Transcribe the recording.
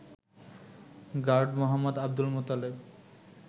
Guard মো. আব্দুল মোতালেব